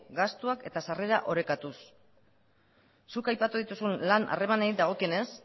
gastuak eta sarrerak orekatuz zuk aipatu dituzun lan harremanei dagokienez